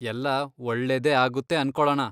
ಎಲ್ಲ ಒಳ್ಳೇದೇ ಆಗುತ್ತೆ ಅನ್ಕೊಳಣ.